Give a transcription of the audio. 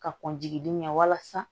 Ka kɔn jigi den ɲɛ walasa